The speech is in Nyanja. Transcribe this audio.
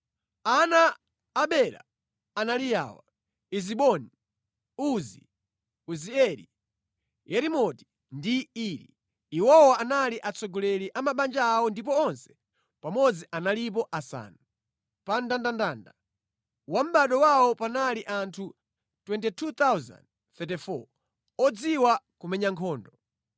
Ana a Bela anali awa: Eziboni, Uzi, Uzieli, Yerimoti ndi Iri. Iwowa anali atsogoleri a mabanja awo ndipo onse pamodzi analipo asanu. Pa mndandanda wa mʼbado wawo panali anthu 22,034 odziwa kumenya nkhondo.